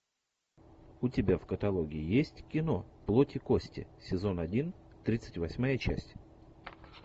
у тебя в каталоге есть кино плоть и кости сезон один тридцать восьмая часть